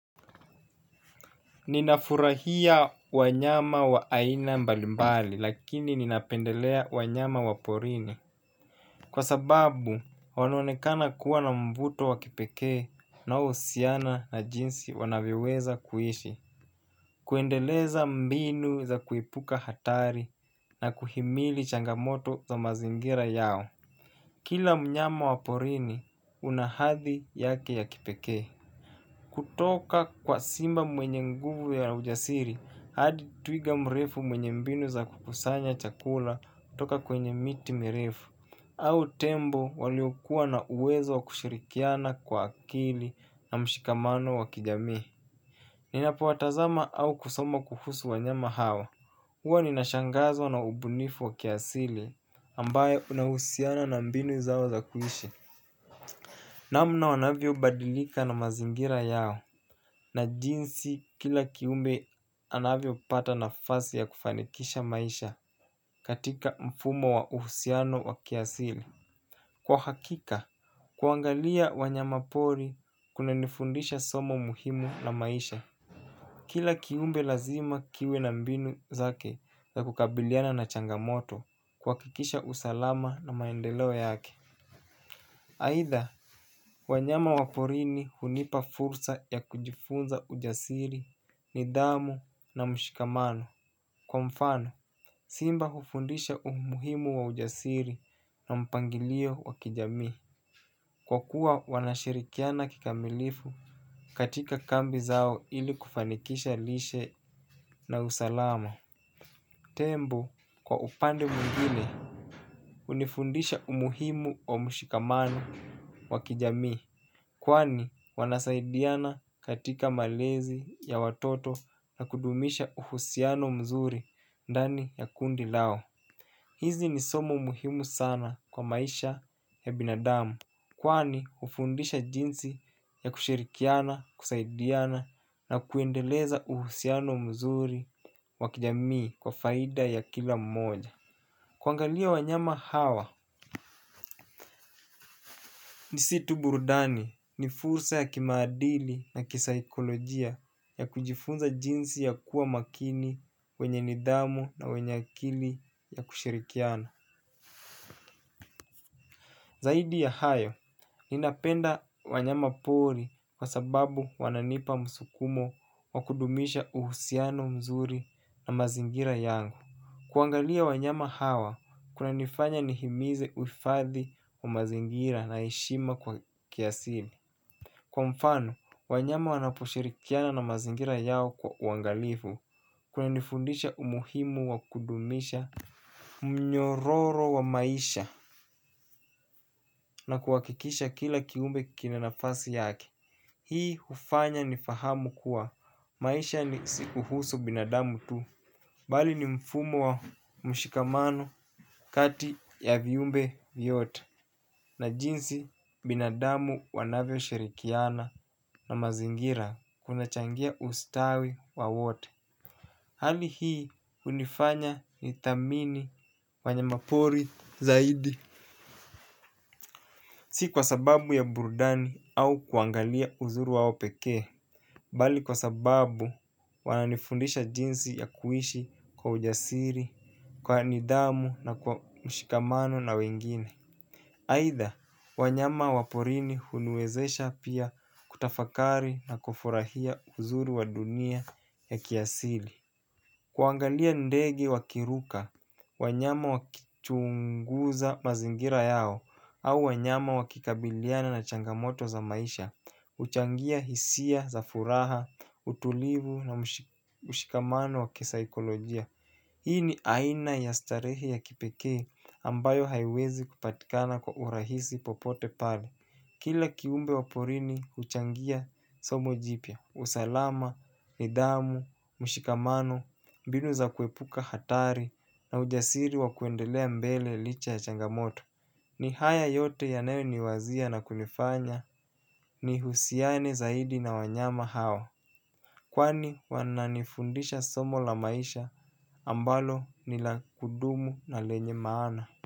Ninafurahia wanyama wa aina mbalimbali lakini ninapendelea wanyama waporini. Kwa sababu wanaonekana kuwa na mvuto wa kipekee unaohusiana na jinsi wanavyoweza kuishi. Kuendeleza mbinu za kuepuka hatari na kuhimili changamoto za mazingira yao. Kila mnyama waporini una hathi yake ya kipekee. Kutoka kwa simba mwenye nguvu ya ujasiri, hadi twiga mrefu mwenye mbinu za kukusanya chakula kutoka kwenye miti mirefu au tembo waliokuwa na uwezo wa kushirikiana kwa akili na mshikamano wa kijamii. Ninapo watazama au kusoma kuhusu w nyama hawa. Huwa ninashangazwa na ubunifu wa kiasili ambayo unahusiana na mbinu zao za kuishi. Namna wanavyo badilika na mazingira yao na jinsi kila kiumbe anavyo pata nafasi ya kufanikisha maisha katika mfumo wa uhusiano wa kiasili. Kwa hakika, kuangalia wanyama pori kuna nifundisha somo muhimu na maisha. Kila kiumbe lazima kiwe na mbinu zake za kukabiliana na changamoto kuhakikisha usalama na maendeleo yake aidha, wanyama waporini hunipa fursa ya kujifunza ujasiri nidhamu na mshikamano kwa mfano. Simba hufundisha umuhimu wa ujasiri na mpangilio wa kijami. Kwa kuwa wanashirikiana kikamilifu katika kambi zao ili kufanikisha lishe na usalama. Tembo kwa upande mwingine hunifundisha umuhimu wa mshikamano wa kijamii. Kwani wanasaidiana katika malezi ya watoto na kudumisha uhusiano mzuri dani ya kundi lao. Hizi ni somo muhimu sana kwa maisha ya binadamu. Kwani hufundisha jinsi ya kushirikiana, kusaidiana na kuendeleza uhusiano mzuri wakijamii kwa faida ya kila mmoja kuangalia wanyama hawa. Nisitu burudani ni fursa ya kimadili na kisaikolojia ya kujifunza jinsi ya kuwa makini kwenye nidhamu na wenye akili ya kushirikiana. Zaidi ya hayo, ninapenda wanyama poli kwa sababu wananipa msukumo wa kudumisha uhusiano mzuri na mazingira yangu. Kuangalia wanyama hawa, kuna nifanya nihimize uifadhi wa mazingira na heshima kwa kiasili. Kwa mfano wanyama wanaposhirikiana na mazingira yao kwa uangalifu kulinifundisha umuhimu wa kudumisha mnyororo wa maisha na kuhakikisha kila kiumbe kinanafasi yake hii hufanya nifahamu kuwa maisha ni si kuhusu binadamu tu. Bali ni mfumo wa mshikamano kati ya viumbe vyote. Na jinsi binadamu wanavyo shirikiana na mazingira kuna changia ustawi wa wote. Hali hii hunifanya nithamini wanya mapori zaidi. Si kwa sababu ya burudani au kuangalia uzuri wao pekee. Bali kwa sababu wananifundisha jinsi ya kuishi kwa ujasiri kwa nidhamu na kwa mshikamano na wengine aidha, wanyama waporini huniwezesha pia kutafakari na kufurahia uzuri wa dunia ya kiasili. Kuangalia ndege wakiruka, wanyama wakichunguza mazingira yao au wanyama wakikabiliana na changamoto za maisha huchangia hisia za furaha, utulivu na mshikamano wakisaikolojia. Hii ni aina ya starehe ya kipekee ambayo haiwezi kupatikana kwa urahisi popote pale. Kila kiumbe waporini huchangia somo jipya, usalama, nidhamu, mshikamano, mbinu za kuepuka hatari na ujasiri wa kuendelea mbele licha ya changamoto. Ni haya yote yanayoniwazia na kunifanya nihusiane zaidi na wanyama hawa. Kwani wananifundisha somo la maisha ambalo nila kudumu na lenye maana.